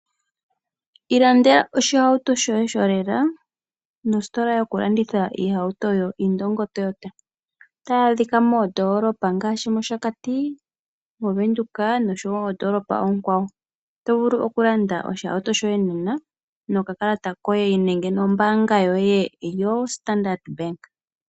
Ilandela oshihawuto shoye sholela nositola yokulanditha iihawuto yoIndongo toyota tayadhika moondolopa ngaashi mOshakati, moVenduka nomondolopa oonkwawo. Otovulu vulu okulanda oshihawuto shoye nena nokakalata koye nenge nombanga yoye yoStandard bank.